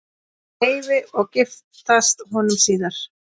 Leifi og giftast honum síðar.